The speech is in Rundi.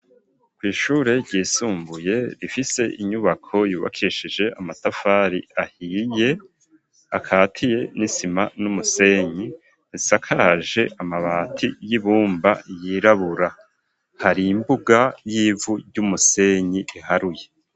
Kw'ishure ryisumbuye, rifise inyubako yubakishije amatafari ahiye, akatiye n'isima n'umusenyi, isakaje amabati y'ibumba yirabura, hari imbuga y'ivu ry'umusenyi iharuye.